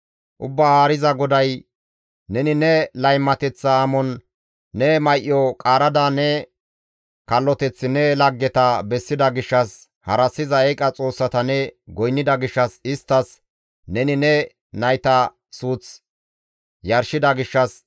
Ubbaa Haariza GODAY, «Neni ne laymateththa amon ne may7o qaarada ne kalloteth ne laggeta bessida gishshas, harassiza eeqa xoossata ne goynnida gishshas isttas neni ne nayta suuth yarshida gishshas,